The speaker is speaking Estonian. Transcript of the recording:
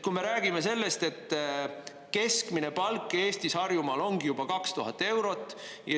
Kui me räägime sellest, et keskmine palk Eestis Harjumaal ongi juba 2000 eurot.